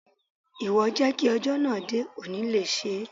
Ìwọ jẹ́ kí ọjọ́ náà dé, kò ní le ṣé.